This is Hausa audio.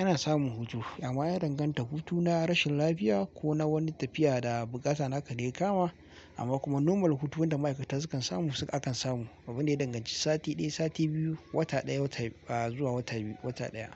Ana samun hutu amma ya danganta hutu na rashin lafiya ko na wani tafiya da bukata naka da ya kama amma kuma normal hutun wanda ma'aikata sukan samu suka aka samu. Ba abu da ya danganci sati ɗaya, sati biyu, wata ɗaya, wata ba zuwa wata biyu, wata ɗaya